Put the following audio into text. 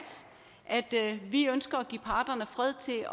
vi ønsker at give parterne fred til